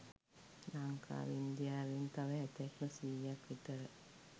ලංකාව ඉන්දියාවෙන් තව හැතැප්ම සීයක් විතර